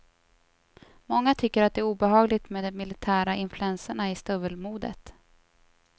Många tycker att det är obehagligt med de militära influenserna i stövelmodet.